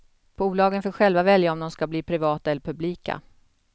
Bolagen får själva välja om de ska bli privata eller publika.